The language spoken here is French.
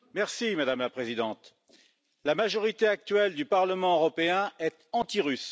Madame la Présidente, la majorité actuelle du Parlement européen est antirusse.